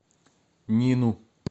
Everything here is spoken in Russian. нину